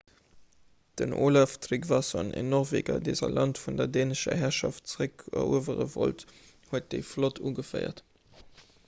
den olaf trygvasson en norweger dee säi land vun der dänescher herrschaft zeréckeruewere wollt huet déi flott ugeféiert